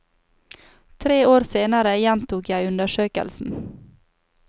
Tre år senere gjentok jeg undersøkelsen.